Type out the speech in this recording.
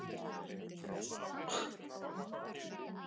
Var þetta skot eða fyrirgjöf?